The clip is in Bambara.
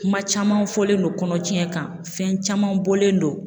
Kuma caman fɔlen don kɔnɔtiɲɛ kan fɛn caman bɔlen don